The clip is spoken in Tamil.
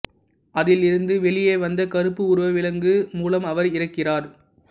அதில் இருந்து வெளிய வந்த கருப்பு உருவ விலங்கு மூலம் அவர் இறக்கிறார்